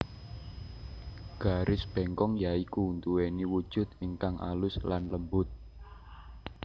Garis bengkong ya iku nduweni wujud ingkang alus lan lembut